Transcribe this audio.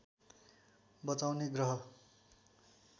बचाउने ग्रह